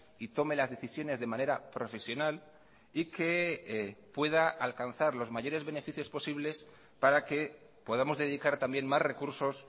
y tome las decisiones de manera profesional y que pueda alcanzar los mayores beneficios posibles para que podamos dedicar también más recursos